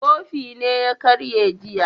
Kofin ne ya karye jiya